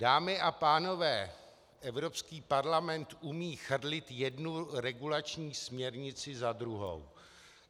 Dámy a pánové, Evropský parlament umí chrlit jednu regulační směrnici za druhou.